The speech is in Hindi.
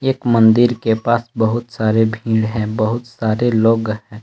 एक मंदिर के पास बहुत सारे भीड़ हैं बहुत सारे लोग हैं।